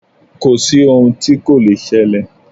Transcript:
Kò sí ohun tí kò le ṣẹlẹ̀.